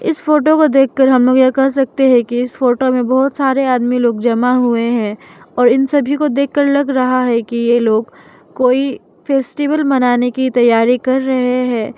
इस फोटो को देखकर हम लोग यह कर सकते है कि इस फोटो में बहोत सारे आदमी लोग जमा हुए है और इन सभी को देखकर लग रहा है कि ये लोग कोई फेस्टिवल मनाने की तैयारी कर रहे है।